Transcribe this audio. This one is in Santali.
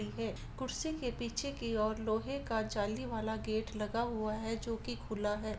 है कुर्सी के पीछे की और लोहे का जीला वाला गेट लगा हुआ है जो की खुला है।